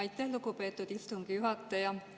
Aitäh, lugupeetud istungi juhataja!